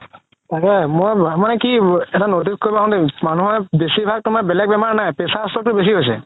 মই কি এটা মানুহৰ বেচি ভাগ তুমাৰ বেলেগ বেমাৰ নাই pressure stroke তো বেচি হৈছে